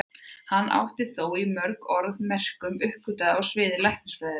Hann átti þó þátt í mörgum öðrum merkum uppgötvunum á sviði læknisfræðinnar.